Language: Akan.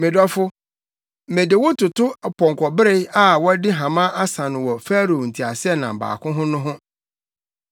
Me dɔfo, mede wo toto ɔpɔnkɔbere a wɔde hama asa no wɔ Farao nteaseɛnam baako ho no ho.